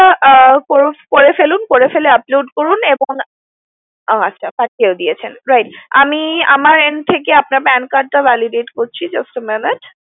হ্যা করে ফেলুন করে ফেলে upload করুন এবং ওহ আচ্ছা পাঠিয়েও দিয়েছেন right আমি আমার end থেকে আপনার PAN card টা validate করছি just a minute